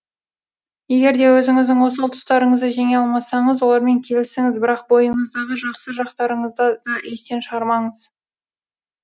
егер де өзіңіздің осал тұстарыңызды жеңе алмасаңыз олармен келісіңіз бірақ бойыңыздағы жақсы жақтарыңызды да естен шығармаңыз